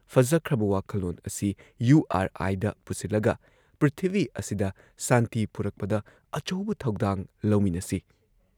ꯐꯖꯈ꯭ꯔꯕ ꯋꯥꯈꯜꯂꯣꯟ ꯑꯁꯤ ꯌꯨ ꯑꯥꯔ ꯑꯥꯏꯗ ꯄꯨꯁꯤꯜꯂꯒ ꯄ꯭ꯔꯤꯊꯤꯕꯤ ꯑꯁꯤꯗ ꯁꯥꯟꯇꯤ ꯄꯨꯔꯛꯄꯗ ꯑꯆꯧꯕ ꯊꯧꯗꯥꯡ ꯂꯧꯃꯤꯟꯅꯁꯤ"